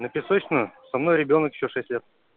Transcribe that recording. на песочную со мной ребёнок ещё шесть лет